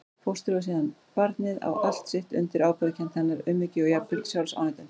Fóstrið og síðan barnið á allt sitt undir ábyrgðarkennd hennar, umhyggju og jafnvel sjálfsafneitun.